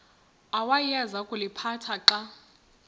awayeza kuliphatha xa